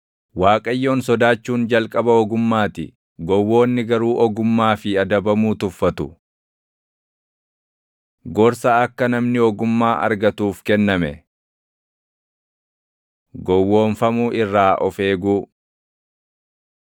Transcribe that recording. Waaqayyoon sodaachuun jalqaba ogummaa ti; gowwoonni garuu ogummaa fi adabamuu tuffatu. Gorsa Akka Namni Ogummaa Argatuuf Kenname Gowwoomfamuu Irraa Of Eeguu